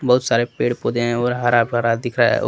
बहुत सारे पेड़ पौधे हैं और हरा भरा दिखा रहा है और--